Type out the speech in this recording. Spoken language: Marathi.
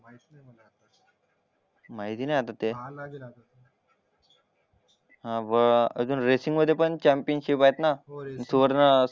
माहिती नाही आता ते पाहायला लागेल आता ते हावर रेसिंग मध्ये पण अजून चॅम्पियनशिप आहेत ना हो रेसिंग